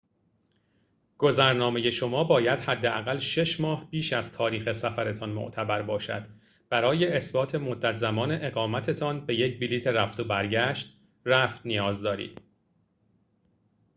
گذرنامه شما باید حداقل 6 ماه بیش از تاریخ سفرتان معتبر باشد. برای اثبات مدت زمان اقامت‌تان به یک بلیط رفت و برگشت/رفت نیاز دارید